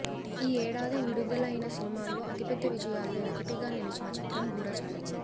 ఈ ఏడాది విడుదలైన సినిమాల్లో అతిపెద్ద విజయాల్లో ఒకటిగా నిలిచిన చిత్రం గూఢచారి